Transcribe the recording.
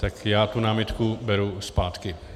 Tak já tu námitku beru zpátky.